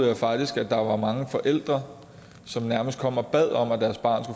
jeg faktisk at der var mange forældre som nærmest kom og bad om at deres barn